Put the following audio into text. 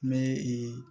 N bɛ